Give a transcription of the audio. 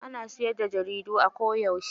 Ana siyar da jaridu a koda yauce.